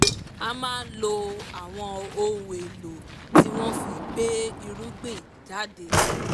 a máa lo àwọn ohun èlò tí wọ́n fi gbé irúgbìn jáde